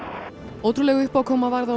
ótrúleg uppákoma varð á